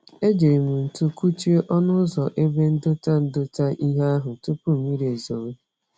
E jírí m ntu kụchie ọnụ ụzọ ebe ndota ndota ihe ahụ, tupu mmiri ezowe